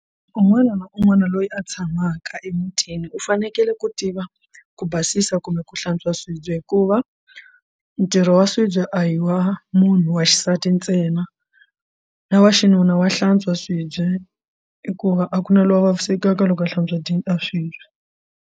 Un'wana na un'wana loyi a tshamaka emutini u fanekele ku tiva ku basisa kumbe ku hlantswa swibye hikuva ntirho wa swibye a hi wa munhu wa xisati ntsena na wa xinuna wa hlantswa swibye hikuva a ku na loyi a vavisekaka loko a hlantswa swibye.